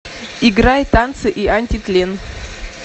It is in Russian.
играй танцы и антитлен